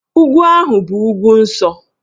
Ugwu ahụ bụ ugwu nsọ